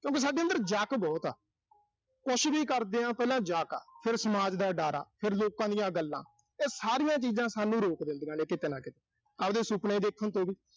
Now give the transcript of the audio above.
ਇੱਕ ਸਾਡੇ ਅੰਦਰ ਜਕ ਬਹੁਤ ਆ। ਕੁਸ਼ ਵੀ ਕਰਦੇ ਆਂ ਪਹਿਲਾਂ ਜਕ ਆ, ਫਿਰ ਸਮਾਜ ਦਾ ਡਰ ਆ, ਫਿਰ ਲੋਕਾਂ ਦੀਆਂ ਗੱਲਾਂ। ਉਹ ਸਾਰੀਆਂ ਚੀਜ਼ਾਂ ਸਾਨੂੰ ਰੋਕ ਦਿੰਦੀਆਂ ਨੇ ਕਿਤੇ ਨਾ ਕਿਤੇ। ਆਬਦੇ ਸੁਪਨੇ ਦੇਖਣ ਤੋਂ ਵੀ।